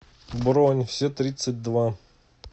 бронь все тридцать два